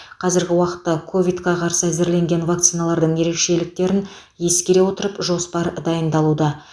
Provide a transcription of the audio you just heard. қазіргі уақытта ковидқа қарсы әзірленген вакциналардың ерекшеліктерін ескере отырып жоспар дайындалуда